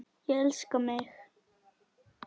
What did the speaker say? Ég elska mig!